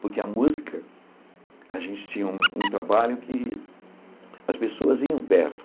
Porque a música, a gente tinha um um trabalho que as pessoas iam perto.